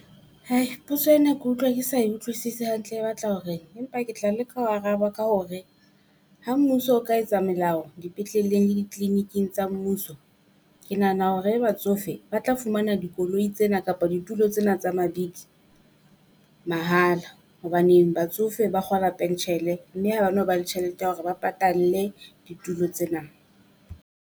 Hai potso ena ke utlwa ke sa utlwisisi hantle e batla hore eng empa ke tla leka ho araba ka hore, ha mmuso o ka etsa melao dipetleleng le di-clinic-ing tsa mmuso. Ke nahana hore batsofetse ba tla fumana dikoloi tsena kapa dithuto tsena tsa mabidi mahala. Hobaneng batsofe ba kgola pentjhele mme ha ba no ba le tjhelete ya hore ba patalle dithuto tsena.